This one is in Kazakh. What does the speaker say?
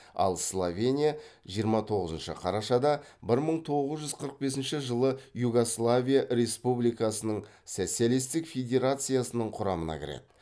ал словения жиырма тоғызыншы қарашада бір мың тоғыз жүз қырық бесінші жылы югославия республикасының социалистік федерациясының құрамына кіреді